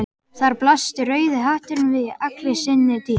Þar blasti rauði hatturinn við í allri sinni dýrð.